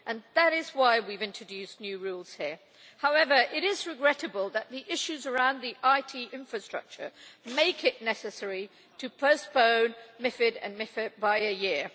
That is why we have introduced new rules here. However, it is regrettable that the issues around the IT infrastructure make it necessary to postpone MiFID and MiFIR by a year.